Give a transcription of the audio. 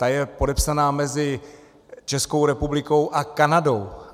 Ta je podepsána mezi Českou republikou a Kanadou.